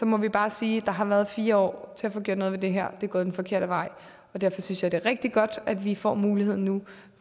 må vi bare sige at der har været fire år til at få gjort noget ved det her det er gået den forkerte vej og derfor synes jeg det er rigtig godt at vi nu får muligheden